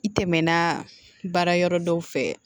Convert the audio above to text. I tɛmɛna baara yɔrɔ dɔw fɛ